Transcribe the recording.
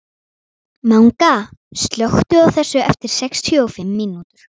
Manga, slökktu á þessu eftir sextíu og fimm mínútur.